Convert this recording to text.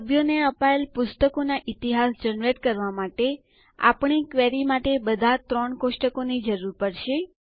સભ્યોને અપાયેલ પુસ્તકોના ઈતિહાસ જનરેટ કરવા માટે આપણને આપણી ક્વેરી માટે બધા ત્રણ કોષ્ટકો ની જરૂર પડશે